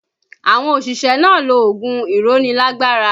Àwọn òṣìṣẹ́ náà lo oògùn ìrónilágbára